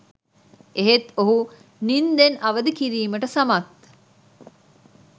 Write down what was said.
එහෙත් ඔහු නින්දෙන් අවදි කිරීමට සමත්